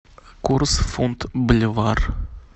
курс фунт боливар